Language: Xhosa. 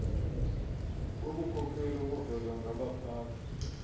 bobukhokheli obuvezwa ngabaphathi